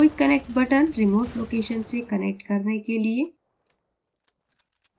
quick connect button – remote location से connect करने के लिए